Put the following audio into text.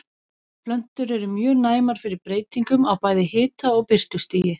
Plöntur eru mjög næmar fyrir breytingum á bæði hita- og birtustigi.